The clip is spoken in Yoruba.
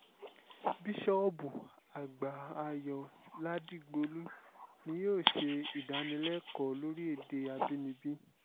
bíṣọ́ọ̀bù àgbà ayọ̀ ládìgbòlù ni yóò ṣe ìdánilẹ́kọ̀ọ́ lórí èdè àbínibí